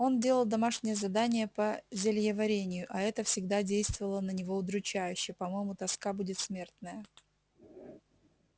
он делал домашнее задание по зельеварению а это всегда действовало на него удручающе по-моему тоска будет смертная